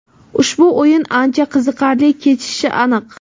Ushbu o‘yin ancha qiziqarli kechishi aniq.